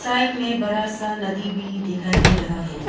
Side में बड़ा सा नदी भी दिखाई दे रहा है।